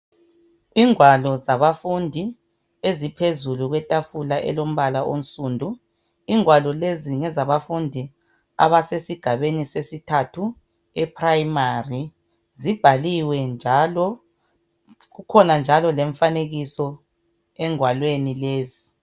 Ingwalo zabafundi eziphezulu kwetafula elombala omsundu ingwalo lezi ngezabafundi abasesigabeni sesithathu eprimary zibhaliwe njalo kukhona njalo lemfanekiso engwalweni lezi.